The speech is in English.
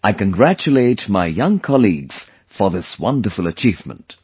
I congratulate my young colleagues for this wonderful achievement